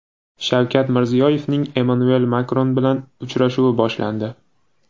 Shavkat Mirziyoyevning Emmanuel Makron bilan uchrashuvi boshlandi.